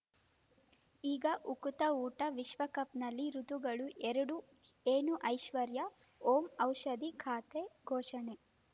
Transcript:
ಈಗ ಉಕುತ ಊಟ ವಿಶ್ವಕಪ್‌ನಲ್ಲಿ ಋತುಗಳು ಎರಡು ಏನು ಐಶ್ವರ್ಯಾ ಓಂ ಔಷಧಿ ಖಾತೆ ಘೋಷಣೆ